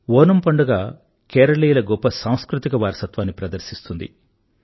ఓనమ్ పండుగ కేరళీయుల గొప్ప సాంస్కృతిక వారసత్వాన్ని ప్రదర్శిస్తుంది